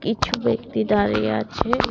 কিছু ব্যক্তি দাঁড়িয়ে আছে।